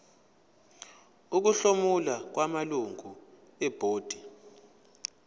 ukuhlomula kwamalungu ebhodi